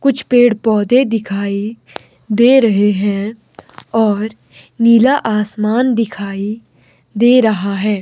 कुछ पेड़ पौधे दिखाई दे रहे हैं और नीला आसमान दिखाई दे रहा है।